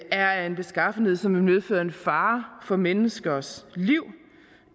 er af en beskaffenhed som vil medføre en fare for menneskers liv